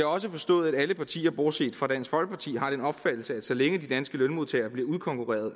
også forstået at alle partier bortset fra dansk folkeparti har den opfattelse at så længe de danske lønmodtagere bliver udkonkurreret